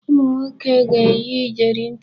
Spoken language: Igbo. Ụmụnwoke ga-eyi iyeri ntị.